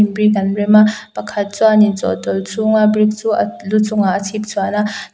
brick an rem a pakhat chuanin chawhtawlh chhung a brick chu a lu chung ah a chhip chhuan a.